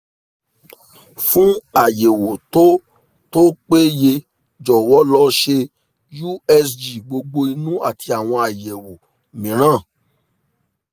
fún àyẹ̀wò tó tó péye jọ̀wọ́ lọ ṣe usg gbogbo inú àti àwọn àyẹ̀wò mìíràn